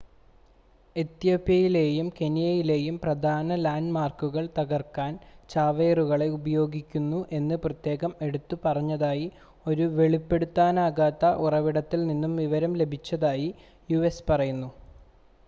"എത്യോപ്യയിലെയും കെനിയയിലെയും "പ്രധാന ലാൻഡ് മാർക്കുകൾ" തകർക്കാൻ ചാവേറുകളെ ഉപയോഗിക്കുന്നു എന്ന് പ്രത്യേകം എടുത്തു പറഞ്ഞതായി ഒരു വെളിപ്പെടുത്താനാകാത്ത ഉറവിടത്തിൽ നിന്നും വിവരം ലഭിച്ചതായി യു.എസ്. പറഞ്ഞു.